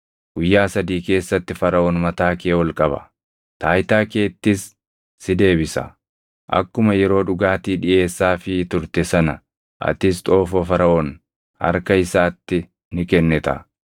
Guyyaa sadii keessatti Faraʼoon mataa kee ol qaba; taayitaa keettis si deebisa; akkuma yeroo dhugaatii dhiʼeessaafii turte sana atis xoofoo Faraʼoon harka isaatti ni kennita.